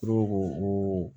Dɔw ko ko o